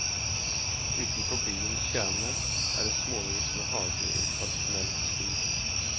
Utenfor byens kjerne er det småhus med hager i tradisjonell stil.